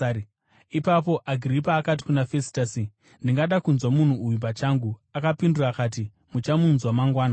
Ipapo Agiripa akati kuna Fesitasi, “Ndingada kunzwa munhu uyu pachangu.” Akapindura akati, “Muchamunzwa mangwana.”